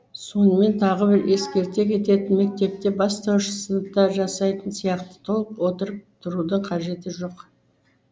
сонымен тағы бір ескерте кететін мектепте бастауыш сыныпта жасайтын сияқты толық отырып тұрудың қажеті жоқ